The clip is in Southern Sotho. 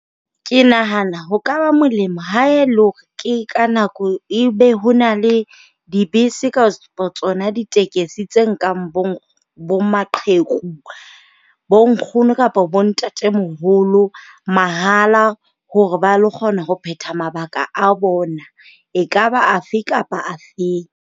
Ke nahana ho ka ba molemo ha e le hore ke ka nako e be ho na le dibese ka tsona ditekesi tse nkang bo maqheku, bo nkgono kapa bo ntatemoholo mahala. Hore ba lo kgona ho phetha mabaka a bona e kaba afe kapa afeng.